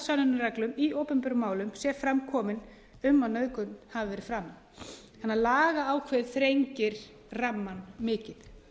sönnunarreglum í opinberum málum sé fram komin um að nauðgun hafi verið framin lagaákvæðið þrengir rammann mikið